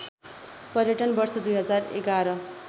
पर्यटन वर्ष २०११